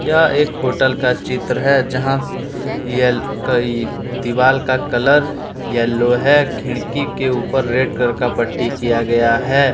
यह एक होटल का चित्र है जहां दिवाल का कलर येलो है खिड़की के ऊपर रेड कलर का पट्टी किया गया हैं।